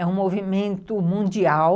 É um movimento mundial